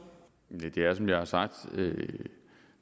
vænner sig